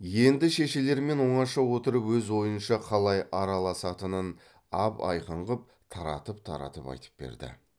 енді шешелерімен оңаша отырып өз ойынша қалай араласатынын ап айқын қып таратып таратып айтып берді